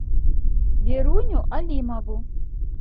веруню алимову